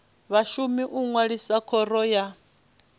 vhashumi u ṅwalisa khoro ya